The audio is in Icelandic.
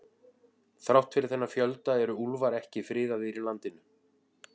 Þrátt fyrir þennan fjölda eru úlfar ekki friðaðir í landinu.